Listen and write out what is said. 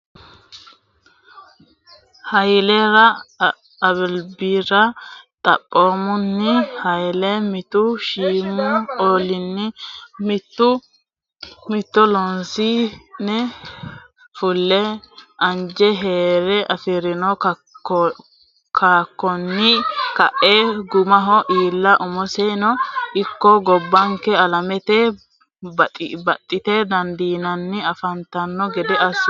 Hayilera albira Xaphoomunni Hayle mittu shiimu olliinni mittore loosi ne fule anje hee re afi rino kakkaonni kae gumaho iilla umosino ikko gobbanke alamete baxxite dandiinanni afantanno gede assino.